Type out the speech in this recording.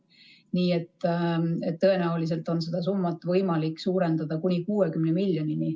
Nii et tõenäoliselt on seda summat võimalik suurendada kuni 60 miljonini.